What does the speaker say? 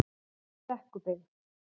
Brekkubyggð